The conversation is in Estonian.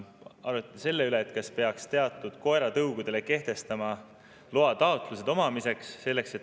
Arutati veel selle üle, kas peaks teatud koeratõugude puhul kehtestama loataotlused nende omamiseks.